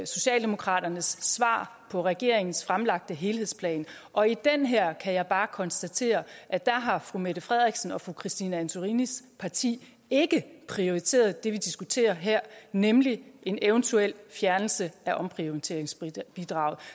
socialdemokratiets svar på regeringens fremlagte helhedsplan og i den her kan jeg bare konstatere at der har fru mette frederiksens og fru christine antorinis parti ikke prioriteret det vi diskuterer her nemlig en eventuel fjernelse af omprioriteringsbidraget